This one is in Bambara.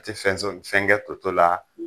A tɛ fɛn so fɛn kɛ toto la